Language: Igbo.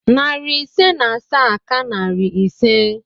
Narị ise na asaa ka narị ise